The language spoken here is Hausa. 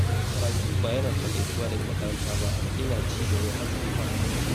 Karatu ba yana taƙaitawa ga makaranta ba, yana ci gaba har tsufa.